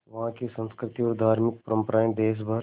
वहाँ की संस्कृति और धार्मिक परम्पराएं देश भर